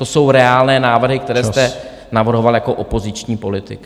To jsou reálné návrhy , které jste navrhoval jako opoziční politik.